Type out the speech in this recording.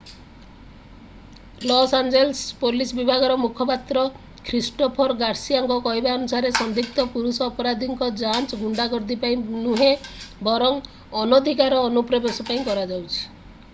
ଲସ୍‌ଆଞ୍ଜେଲସ୍‌ର police ବିଭାଗର ମୁଖପାତ୍ର Christopher ଗାର୍ସିଆଙ୍କ କହିବା ଅନୁସାରେ ସନ୍ଦିଗ୍ଧ ପୁରୁଷ ଅପରାଧୀଙ୍କ ଯାଞ୍ଚ ଗୁଣ୍ଡାଗର୍ଦ୍ଦି ପାଇଁ ନୁହେଁ ବରଂ ଅନଧିକାର ଅନୁପ୍ରବେଶ ପାଇଁ କରାଯାଉଛି।